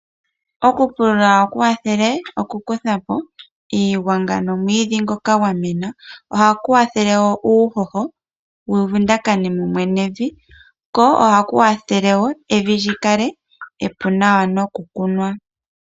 Okupulula ohaku kwathele okukuthapo iigwanga nomwiidhi ngoka gwa mena, ohaku kwathele woo uuhoho wu vundakane mumwe nevi ko ohaku kwathele woo evi li kale epu nawa noku kunwa.